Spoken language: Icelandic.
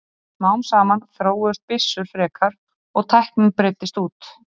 smám saman þróuðust byssur frekar og tæknin breiddist út